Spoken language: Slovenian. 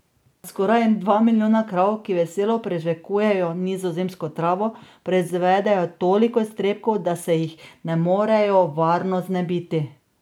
Skoraj dva milijona krav, ki veselo prežvekujejo nizozemsko travo, proizvede toliko iztrebkov, da se jih ne morejo varno znebiti.